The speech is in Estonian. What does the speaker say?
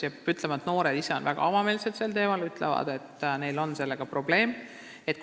Peab ütlema, et noored on sel teemal väga avameelsed, nad ütlevad, et neil on sellega probleeme.